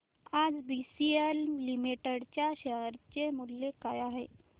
आज BCL limited च्या share चे मूल्य काय आहे